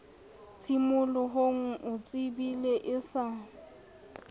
tshimolohong o tsebile e sa